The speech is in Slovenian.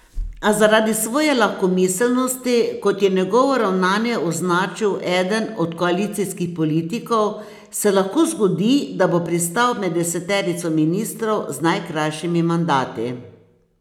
A zaradi svoje lahkomiselnosti, kot je njegovo ravnanje označil eden od koalicijskih politikov, se lahko zgodi, da bo pristal med deseterico ministrov z najkrajšimi mandati.